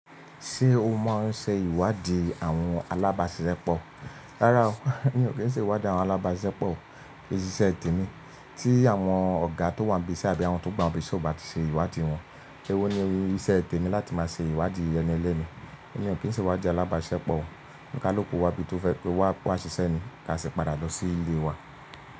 Ṣé o mọ ọún ṣe ìwádìí àwọn alábáṣisepọ̀? Rárá o, mi ò kí n ṣe ìwádìí àwọn alábáṣepọ̀. Iṣẹ́ tè mi. Tí àwọn ọ̀gá tó wà níbí ise àbí àwọn tó gbà síbí ṣe ò bá ti ṣe ìwádìí wọn, ewó ni iṣẹ́ ètè mi láti máa ṣe ìwádìí eni eleni. Mi ò kí n ṣe ìwádìí alábáṣepọ̀. Ǹjẹ́ lóko wa bí tó fẹ́ kó wá ṣìṣé ní, ka sì padà lọ sí ilé wa.